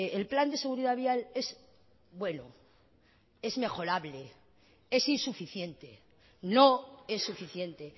el plan de seguridad vial es bueno es mejorable es insuficiente no es suficiente